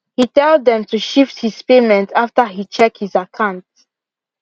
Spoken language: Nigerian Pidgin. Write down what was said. he tell them to shift his payment after he check his akant